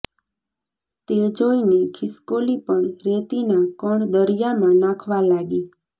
તે જોઇને ખિસકોલી પણ રેતીના કણ દરિયામાં નાંખવા લાગી